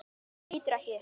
Lítur ekki upp.